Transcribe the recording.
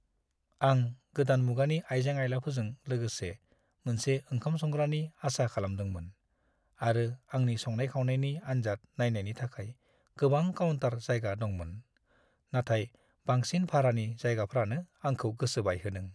आं गोदान मुगानि आइजें-आइलाफोरजों लोगोसे मोनसे ओंखाम-संग्रानि आसा खालामदोंमोन आरो आंनि संनाय-खावनायनि आनजाद नायनायनि थाखाय गोबां काउन्टार जायगा दंमोन, नाथाय बांसिन भारानि जायगाफ्रानो आंखौ गोसो बायहोदों।